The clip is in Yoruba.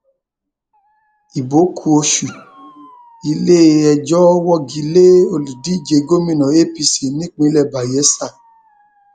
ibo ku oṣù iléẹjọ wọgi lé olùdíje gómìnà apc nípínlẹ bayela